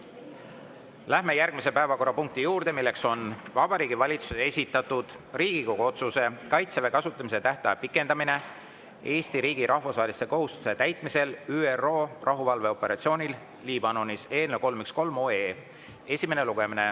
Läheme järgmise päevakorrapunkti juurde, milleks on Vabariigi Valitsuse esitatud Riigikogu otsuse "Kaitseväe kasutamise tähtaja pikendamine Eesti riigi rahvusvaheliste kohustuste täitmisel ÜRO rahuvalveoperatsioonil Liibanonis" eelnõu 313 esimene lugemine.